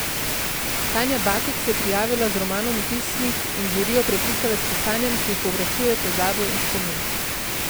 Tanja Bakić se je prijavila z romanom v pismih in žirijo prepričala s pisanjem, ki prevprašuje pozabo in spomin.